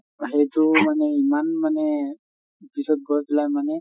সেইটো মানে ইমান মানে পিছত গৈ পেলাই মানে